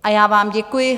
A já vám děkuji.